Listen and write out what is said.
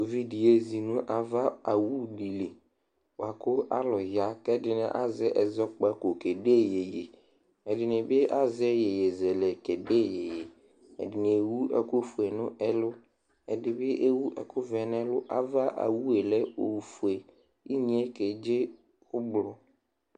uvi di yezi no ava owu di li boa ko alo ya k'ɛdini azɛ ɛzɔkpako kede yeye ɛdini bi azɛ yeye zɛlɛ kede yeye ɛdini ewu ɛkò fue no ɛlu ɛdi bi ewu ɛkò vɛ n'ɛlu ava owue lɛ ofue inye ke dze ublɔ